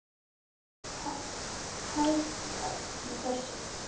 Hvað er hæft í þessu?